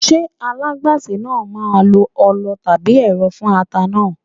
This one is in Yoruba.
Ṣé alágbàsè náà máà ń lo ọlọ tàbí ẹ̀rọ fún ata náà?